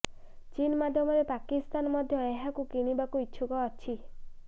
ଚୀନ ମାଧ୍ୟମରେ ପାକିସ୍ତାନ ମଧ୍ୟ ଏହାକୁ କିଣିବାକୁ ଇଚ୍ଛୁକ ଅଛି